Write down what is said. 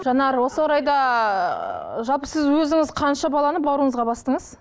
жанар осы орайда жалпы сіз өзіңіз қанша баланы бауырыңызға бастыңыз